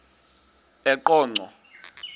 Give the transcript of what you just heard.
eqonco